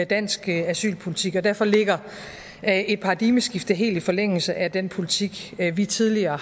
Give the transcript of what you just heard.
dansk asylpolitik og derfor ligger et paradigmeskifte helt i forlængelse af den politik vi tidligere